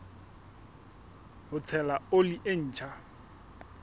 ho tshela oli e ntjha